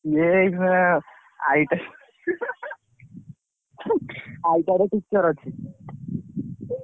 ସେଇ ଏଇ କ IIT ITR ରେ teacher ଅଛି।